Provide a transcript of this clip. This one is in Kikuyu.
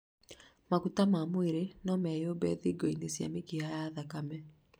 maguta ma mwĩrĩ no meyũmbe thingo-inĩ cia mĩkiha ya thakame